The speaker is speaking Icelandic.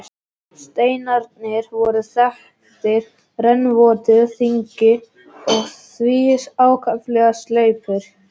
Steinarnir voru þaktir rennvotu þangi og því ákaflega sleipir.